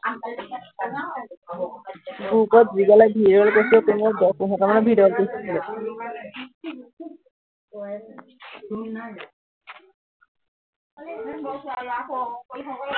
group ত দিবলে video কৰিছিলো মই দহ পোন্ধৰটা মান video upload কৰিছিলো